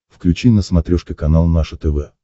включи на смотрешке канал наше тв